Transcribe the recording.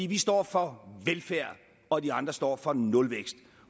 vi står for velfærd og de andre står for nulvækst